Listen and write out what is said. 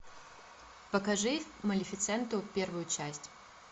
покажи малефисенту первую часть